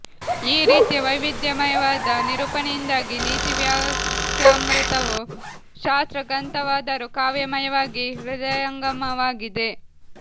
ಈ ರೀತಿಯ ವೈವಿಧ್ಯಮಯವಾದ ನಿರೂಪಣೆಯಿಂದಾಗಿ ನೀತಿವಾಕ್ಯಾಮೃತವು ಶಾಸ್ತ್ರ ಗ್ರಂಥವಾದರೂ ಕಾವ್ಯಮಯವಾಗಿ ಹೃದಯಂಗಮವಾಗಿದೆ